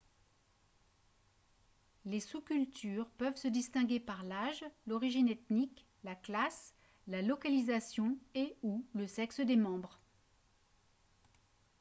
les sous-cultures peuvent se distinguer par l'âge l'origine ethnique la classe la localisation et / ou le sexe des membres